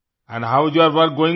and how's your work going own